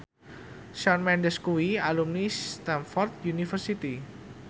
Shawn Mendes kuwi alumni Stamford University